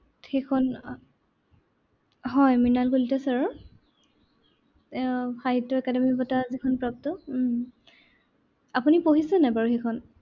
সেইখন। হয় মৃনাল কলিতা sir ৰ। এৰ সাহিত্য একাডেমি বঁটা যিখন প্ৰাপ্ত উম আপুনি পঢ়েছে নাই বাৰু সেইখন?